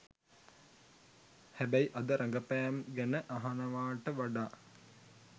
හැබැයි අද රඟපෑම් ගැන අහනවාට වඩා